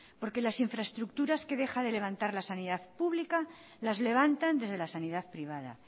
porque las infraestructuras que deja de levantar la sanidad pública las levantan desde la sanidad privada